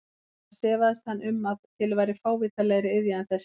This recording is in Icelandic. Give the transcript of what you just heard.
Annars efaðist hann um að til væri fávitalegri iðja en þessi.